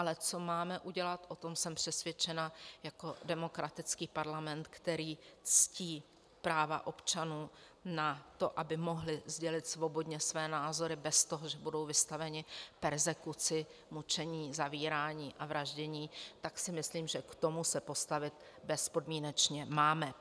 Ale co máme udělat, o tom jsem přesvědčena, jako demokratický parlament, který ctí práva občanů na to, aby mohli sdělit svobodně své názory bez toho, že budou vystaveni perzekuci, mučení, zavírání a vraždění, tak si myslím, že k tomu se postavit bezpodmínečně máme.